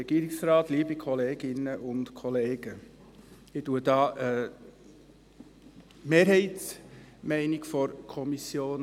Ich vertrete als Kommissionspräsident die Mehrheitsmeinung der Kommission.